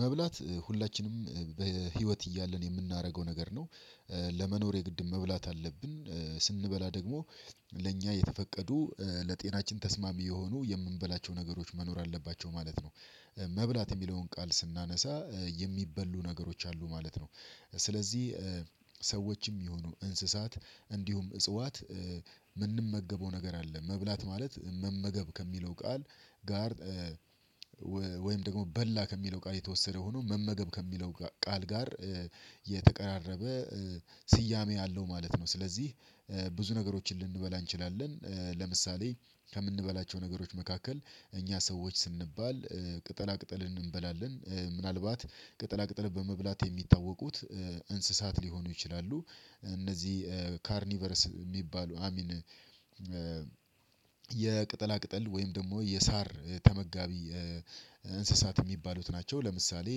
መብላት ሁላችንም በህይወት እያለን የምናደርገው ነገር ነው። ለመኖር የግድ መብላት አለብን ስንበላ ደግሞ ለእኛ የተፈቀዱ ለጤናችን ተስማሚ የሆኑ የምንበላቸው ነገሮች መኖር አለባቸው ማለት ነው። መብላት የሚለውን ቃል ስናነሳ የሚበሉ ነገሮች አሉ ማለት ነው። ስለዚህ ሰዎችም ይሆኑ እንስሳት እንዲሁም እጽዋት የምንመገበው ነገር አለ መብላት ማለት መመገብ ከሚለው ቃል ጋር ወይም ደግሞ በላ ከሚለው ቃል የተወሰደ ሆኖ መመገብ ከሚለው ቃል ጋር የተቀራረበ ስያሜ ያለው ማለት ነው። ስለዚህ ብዙ ነገሮችን ልንበላ እንችላለን። ለምሳሌ ከምንበላቸው ነገሮች መካከል እኛ ሰዎች ስንባል ቅጠላ ቅጠልን እንበላለን ምናልባት ቅጠላ ቅጠል በመብላት የሚታወቁት እንስሳት ሊሆኑ ይችላሉ እነዚህ ካርኒቨርስ የሚባሉ አይሚን የቅጠላ ቅጠል ወይም ደግሞ የሳር ተመጋቢ እንስሳት የሚባሉት ናቸው። ለምሳሌ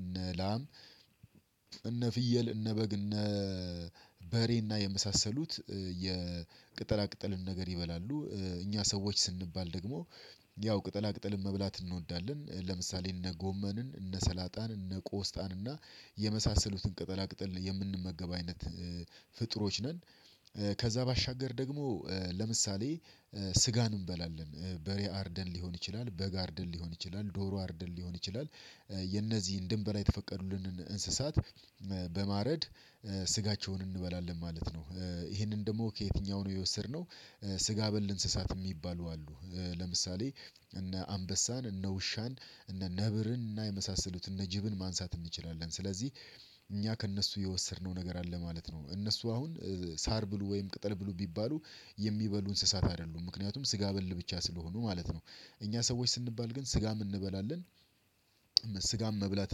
እነ ላም እነ ፍየል እነ በግ እነ በሬና የመሳሰሉት የቅጠላ ቅጠልን ነገር ይበላሉ። እኛ ሰዎች ስንባል ደግሞ ያው ቅጠላ ቅጠልን መብላት እንወዳለን ለምሳሌ እነ ጎመንን እነ ሰላጣን እነ ቆስጣን እና የመሳሰሉትን ቅጠላ ቅጠል የምንመገብ አይነት ፍጡሮች ነን። ከዛ ባሻገር ደግሞ ለምሳሌ ስጋን እንበላለን በሬ አርደን ሊሆን ይችላል በግ አርደን ሊሆን ይችላል ዶሮ አርደን ሊሆን ይችላል የነዚህ እንድንበላ የተፈቀዱልንን እንስሳት በማረድ ስጋቸውን እንበላለን ማለት ነው። ይሄንን ደግሞ ከየትኛው ነው የወሰድነው? ስጋ በል እንስሳት የሚባሉ አሉ ለምሳሌ እነ አንበሳን እነ ውሻን እነ ነብርን እና የመሳሰሉትን እነ ጅብን ማንሳት እንችላለን። ስለዚህ እኛ ከእነሱ የወሰድነው ነገር አለ ማለት ነው። እነሱ አሁን ሳር ብሉ ወይም ቅጠል ብሉ ቢባሉ የሚበሉ እንስሳት አይደሉም ምክንያቱም ስጋ በል ብቻ ስለሆኑ ማለት ነው። እኛ ሰዎች ስንባል ግን ስጋም እንበላለን። ስጋም መብላት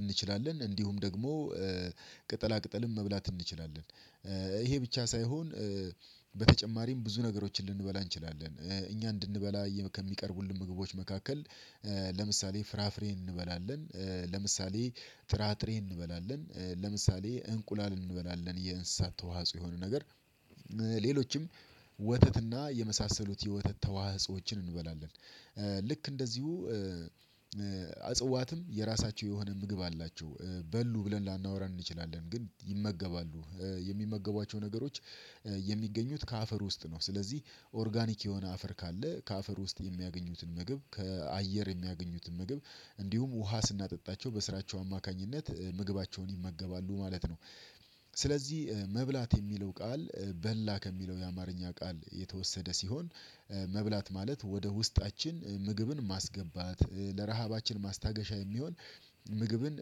እንችላለን እንዲሁም ደግሞ ቅጠላ ቅጠለም መብላት እንችላለን። ይሄ ብቻ ሳይሆን በተጨማሪም ብዙ ነገሮችን ልንበላ እንችላለን እኛ እንድንበላ ከሚቀርቡልን ምግቦች መካከል ለምሳሌ ፍራፍሬ እንበላለን ለምሳሌ ጥራጥሬ እንበላለን ለምሳሌ እንቁላል እንበላለን የእንስሳት ተዋእጾ የሆኑ ነገር ሌሎችም ወተትና የመሳሰሉት የወተት ተዋህጾዎችን እንበላለን። ልክ እንደዚሁ አፅዋትም የራሳቸው የሆነ ምግብ አላቸው በሉ ብለን ላናወራን እንችላለን ግን ይመገባሉ የሚመገቧቸው ነገሮች የሚገኙት ከአፈር ውስጥ ነው ስለዚህ ኦርጋኒክ የሆነ አፈር ካለ ከአፈር ውስጥ የሚያገኙትን መግብ ከአየር የሚያገኙትን ምግብ እንዲሁም ውሃ ስናጠጣቸው በስራቸው አማካኝነት ምግባቸውን ይመገባሉ ማለት ነው። ስለዚህ መብላት የሚለው ቃል በላ ከሚለው የአማርኛ ቃል የተወሰደ ሲሆን መብላት ማለት ወደ ውስጣችን ምግብን ማስገባት ለረሃባችን ማስታገሻ የሚሆን ምግብን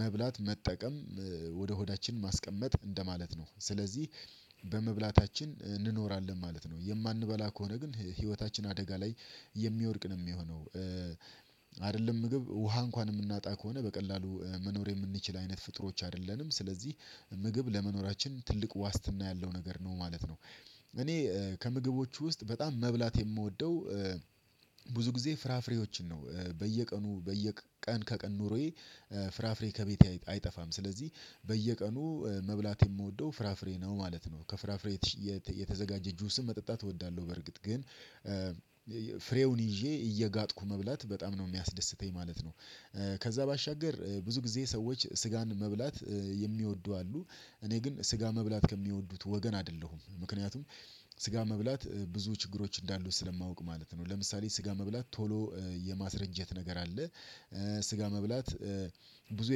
መብላት መጠቀም ወደ ሆዳችን ማስቀመጥ እንደማለት ነው። ስለዚህ በመብላታችን እንኖራለን ማለት ነው። የማንበላ ከሆነ ግን ህይወታችን አደጋ ላይ የሚወድቅ ነው የሚሆነው። አይደለም ምግብ ውሃ እንኳን የምናጣ ከሆነ በቀላሉ መኖር የምንችል አይነት ፍጡሮች አይደለንም። ስለዚህ ምግብ ለመኖራችን ትልቅ ዋስትና ያለው ነገር ነው ማለት ነው። እኔ ከምግቦቹ ውስጥ በጣም መብላት የምወደው ብዙ ጊዜ ፍራፍሬዎችን ነው በየቀኑ በየቀን ከቀን ኑሮዬ ፍራፍሬ ከቤቴ አይጠፋም። ስለዚህ በየቀኑ መብላት የምወደው ፍራፍሬ ነው ማለት ነው። ከፍራፍሬ የተዘጋጀ ጁስም መጠጣት እወዳለሁ በርግጥ ግን ፍሬውን ይዤ እየጋጥኩ መብላት በጣም ነው የሚያስደስተኝ ማለት ነው። ከዛ ባሻገር ብዙ ጊዜ ሰዎች ስጋን መብላት የሚወዱ አሉ እኔ ግን ስጋ መብላት ከሚወዱት ወገን አይደለሁም። ምክንያቱም ስጋ መብላት ብዙ ችግሮች እንዳሉት ስለማውቅ ማለት ነው። ለምሳሌ ስጋ መብላት ቶሎ የማስረጀት ነገር አለ። ስጋ መብላት ብዙ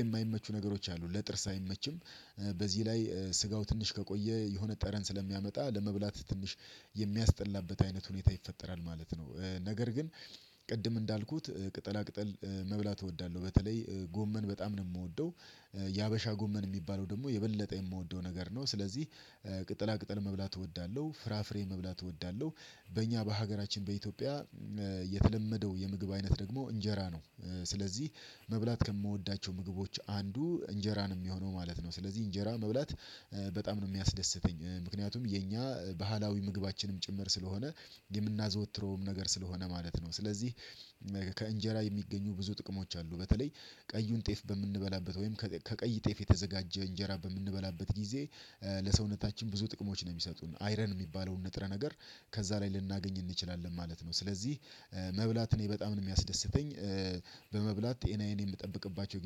የማይመቹ ነገሮች አሉ ለጥርስ አይመችም። በዚህ ላይ ስጋው ትንሽ ከቆየ የሆነ ጠረን ስለሚያመጣ ለመብላት ትንሽ የሚያስጠላበት አይነት ሁኔታ ይፈጠራል ማለት ነው። ነገር ግን ቅድም እንዳልኩት ቅጠላ ቅጠል መብላት እወዳለሁ። በተለይ ጎመን በጣም ነው የምወደው የሀበሻ ጎመን የሚባለው ደግሞ የበለጠ የምወደው ነገር ነው። ስለዚህ ቅጠላ ቅጠል መብላት እወዳለሁ ፍራፍሬ መብላት እወዳለሁ። በእኛ በሀገራችን በኢትዮጵያ የተለመደው የምግብ አይነት ደግሞ እንጀራ ነው። ስለዚህ መብላት ከምወዳቸው ምግቦች አንዱ እንጀራ ነው የሚሆነው ማለት ነው። ስለዚህ እንጀራ መብላት በጣም ነው የሚያስደስተኝ። ምክንያቱም የኛ ባህላዊ ምግባችንም ጭምር ስለሆነ የምናዘወትረውም ነገር ስለሆነ ማለት ነው። ስለዚህ ከእንጀራ የሚገኙ ብዙ ጥቅሞች አሉ። በተለይ ቀዩን ጤፍ በምንበላበት ወይም ከቀይ ጤፍ የተዘጋጀ እንጀራ በምንበላበት ጊዜ ለሰውነታችን ብዙ ጥቅሞች ነው የሚሰጡን አይረን የሚባለውን ንጥረ ነገር ከዛ ላይ ልናገኝ እንችላለን ማለት ነው። ስለዚህ መብላት እኔ በጣም ነው የሚያስደስተኝ። በመብላት ጤናዬን የምጠብቅባቸው